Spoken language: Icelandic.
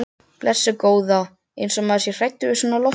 Blessuð góða. eins og maður sé hræddur við svona loftbólu!